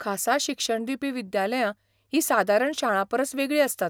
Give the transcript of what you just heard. खासा शिक्षण दिवपी विद्यालयां हीं सादारण शाळांपरस वेगळीं आसतात.